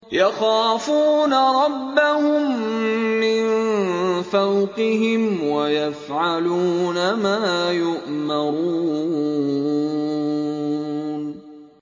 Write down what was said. يَخَافُونَ رَبَّهُم مِّن فَوْقِهِمْ وَيَفْعَلُونَ مَا يُؤْمَرُونَ ۩